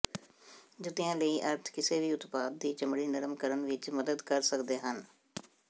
ਜੁੱਤੀਆਂ ਲਈ ਅਰਥ ਕਿਸੇ ਵੀ ਉਤਪਾਦ ਦੀ ਚਮੜੀ ਨਰਮ ਕਰਨ ਵਿੱਚ ਮਦਦ ਕਰ ਸਕਦੇ ਹਨ